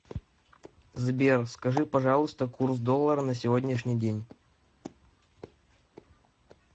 сбер скажи пожалуйста курс доллара на сегодняшний день